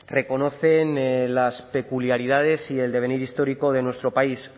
reconocen las peculiaridades y el devenir histórico de nuestro país